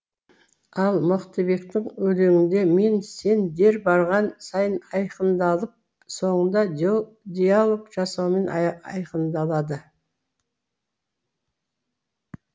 ал мықтыбектің өлеңінде мен сен дер барған сайын айқындалып соңында диалог жасаумен айқындалады